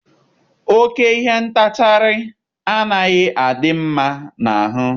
Oke ihe ntachagharị anaghị adị mma n'ahụ.